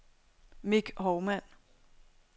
Mick Hovmand